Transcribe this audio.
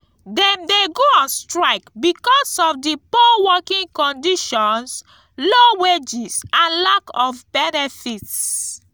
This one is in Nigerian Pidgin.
dem dey go on strike because of di poor working conditions low wages and lack of benefits.